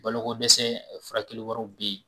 Balo ko dɛsɛ furakɛli wɛrɛw be yen.